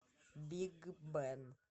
биг бен